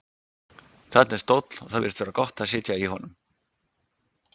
Þarna er stóll og það virðist vera gott að sitja í honum.